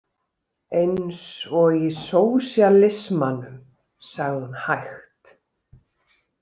Eins og í sósíalismanum, sagði hún hægt.